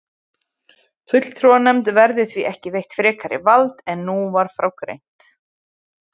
Fulltrúanefnd verður því ekki veitt frekara vald en nú var frá greint.